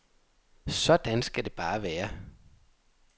Sådan skal det bare være.